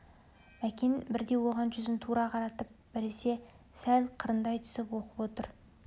мәкен бірде оған жүзін тура қаратып біресе сәл қырындай түсіп оқып отыр